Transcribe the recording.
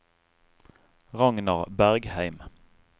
Ragnar Bergheim